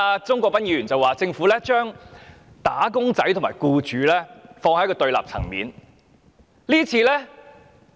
鍾國斌議員剛才說，政府將"打工仔"和僱主放在對立層面。